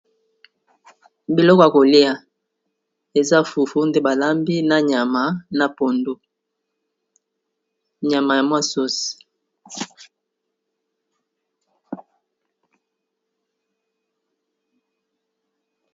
Biloko ya kolia, eza fufu nde ba lambi na nyama na pondu. Nyama ya mwa sauce ..